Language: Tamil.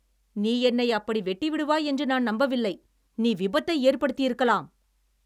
நீ என்னை அப்படி வெட்டிவிடுவாய் என்று நான் நம்பவில்லை. நீ விபத்தை ஏற்படுத்தியிருக்கலாம்!